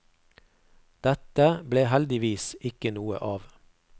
Dette ble heldigvis ikke noe av.